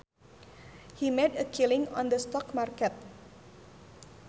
He made a killing on the stock market